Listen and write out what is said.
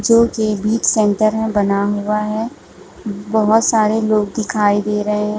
जो की बिच सेंटर में बना हुआ है बहोत सारे लोग दिखाई दे रहे है।